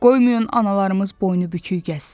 Qoymayın analarımız boynu bükük gəzsin.